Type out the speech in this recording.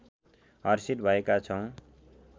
हर्षित भएका छौँ